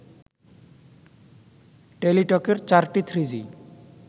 টেলিটকের চারটি থ্রিজি